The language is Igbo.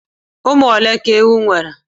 Ụmụ ole ka ewu nwere?